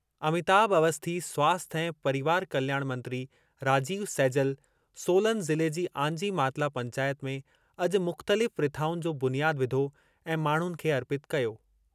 अमिताभ अवस्थी स्वास्थ्य ऐं परिवार कल्याण मंत्री राजीव सैजल, सोलन ज़िले जी आंजी मातला पंचायत में अॼु मु‍ख़्तलिफ़ रिथाउनि जो बुनियाद विधो ऐं माण्हुनि खे अर्पितु कयूं।